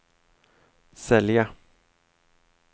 sälja